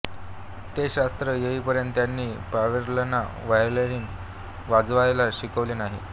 ते शास्त्र येईपर्यंत त्यांनी प्यारेलालना व्हायोलिन वाजवायला शिकवले नाही